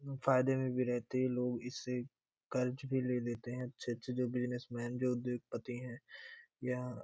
फायदे में भी रहते हैं लोग इससे कर्ज भी ले लेते है अच्छे-अच्छे जो बिजनेस मैन जो उद्योगपति है यहाँ --